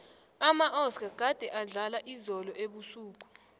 amaoscar gade adlala izolo ebusuku